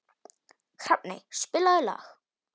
Hrafney, spilaðu lag.